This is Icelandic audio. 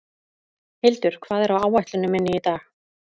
Hildur, hvað er á áætluninni minni í dag?